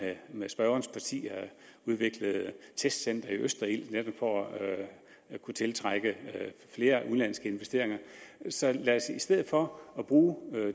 med spørgerens parti udviklet et testcenter i østerild netop for at kunne tiltrække flere udenlandske investeringer så lad os i stedet for at bruge